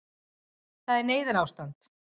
Það er neyðarástand